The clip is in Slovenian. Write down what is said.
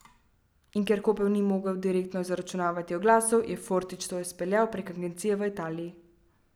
In ker Koper ni mogel direktno zaračunavati oglasov, je Fortič to izpeljal prek agencije v Italiji.